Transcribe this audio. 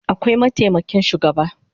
Akwai mataimakin shugaba